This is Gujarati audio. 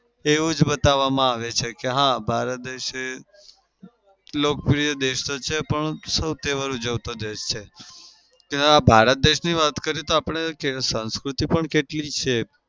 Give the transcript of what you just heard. એવું જ બતાવામાં આવે છે કે હા ભારત દેશ લોકપ્રિય દેશ તો છે પણ સૌ તહેવાર ઉજવતો દેશ છે. જેમાં ભારત દેશની વાત કરીએ તો આપડે સાંસ્કૃતિ પણ કેટલી છે.